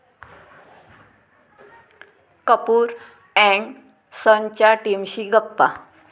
Kapoor and सन्स'च्या टीमशी गप्पा